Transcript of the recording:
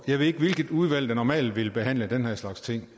jeg ved ikke hvilket udvalg der normalt ville behandle den her slags ting